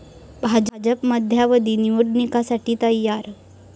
भाजप मध्यावधी निवडणुकांसाठी तयार'